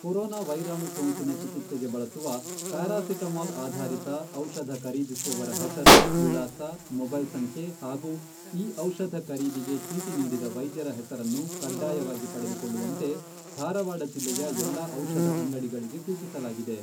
Corona ವೈರಾಣು ಸೋಂಕಿನ ಚಿಕಿತ್ಸೆಗೆ ಬಳಸುವ ಪ್ಯಾರಾಸಿಟಮೋಲ್ ಆಧಾರಿತ ಔಷಧ ಖರೀದಿಸುವವರ ಹೆಸರು, ವಿಳಾಸ, ಮೊಬೈಲ್ ಸಂಖ್ಯೆ ಹಾಗೂ ಈ ಔಷಧ ಖರೀದಿಗೆ ಚೀಟಿ ನೀಡಿದ ವೈದ್ಯರ ಹೆಸರನ್ನು ಕಡ್ಡಾಯವಾಗಿ ಪಡೆದುಕೊಳ್ಳುವಂತೆ ಧಾರವಾಡ ಜಿಲ್ಲೆಯ ಎಲ್ಲಾ ಔಷಧ ಅಂಗಡಿಗಳಿಗೆ ಸೂಚಿಸಲಾಗಿದೆ.